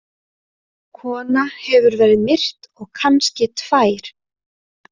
Kona hefur verið myrt og kannski tvær.